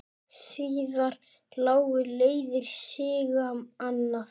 Síðar lágu leiðir Sigga annað.